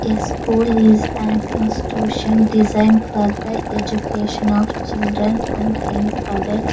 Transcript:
A school is an institution design for the education of children and young adults.